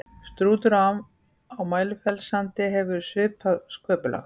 strútur á mælifellssandi hefur svipað sköpulag